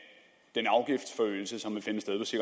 i